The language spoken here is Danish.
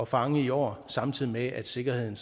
fange i år samtidig med at sikkerheden